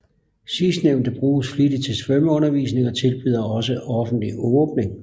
Sidstnævnte bruges flittigt til svømmeundervisning og tilbyder også offentlig åbning